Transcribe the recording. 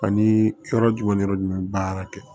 Ani yɔrɔ jumɛn ni yɔrɔ jumɛn baara kɛ